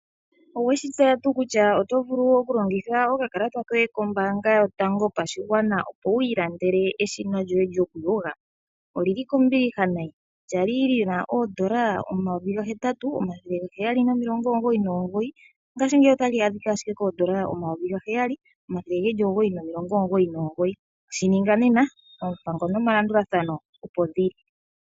Oweshi tseya tuu kutya otovulu okulongitha okakalata koye kombaanga yotango yopashigwana opo wi ilandele eshina lyoye lyokuyoga. Olili kombiliha nayi kwali li na oondola omayovi ga hetatu omathele ga heyali nomilongo omugoyi nomugoyi ,ngashingeyi ota li adhika ashike koondola omayovi ga heyali omathele ge li omugoyi nomilongo omugoyi no mugoyi .Shi ninga nena oompango nomalandulathano opo dhili.